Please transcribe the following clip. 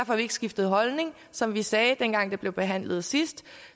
har ikke skiftet holdning som vi sagde dengang det blev behandlet sidst